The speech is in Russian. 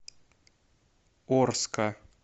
орска